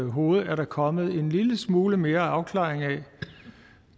hoved er der kommet en lille smule mere afklaring af